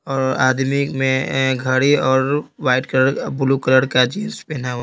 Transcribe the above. आदमी में घड़ी और वाइट कलर ब्लू कलर का जीन्स पहना हुआ --